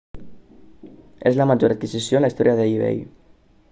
és la major adquisició en la història d'ebay